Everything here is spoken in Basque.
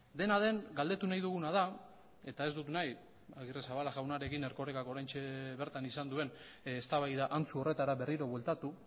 dena den galdetu nahi duguna da eta ez dut nahi agirrezabala jaunarekin erkorekak oraintxe bertan izan duen eztabaida antzu horretara berriro bueltatu